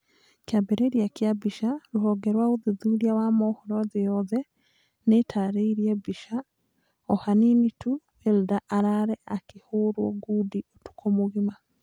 Kĩambĩrĩria kĩa mbica, Rũhonge rwa ũthuthuria na mohoro thĩ yothe nĩtarĩirie mbica, ohanini tu Wilder arare akĩhorwo ngundi ũtukũ mũgima